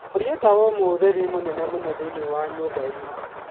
horia tawa umwe ũtheri ni mũnene mũno thĩinĩ wa nyũmba ĩno.